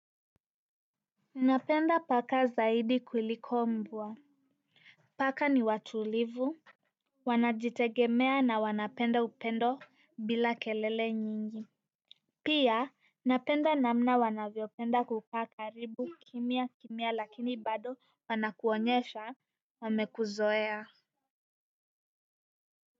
Napenda paka zaidi kuliko mbwa paka ni watulivu, wanajitegemea na wanapenda upendo bila kelele nyingi pia napenda namna wanavyopenda kukaa karibu kimya kimya lakini bado wanakuonyesha wamekuzoea.